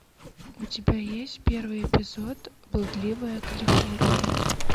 у тебя есть первый эпизод блудливая калифорния